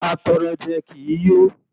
Atọrọjẹ kì í yó.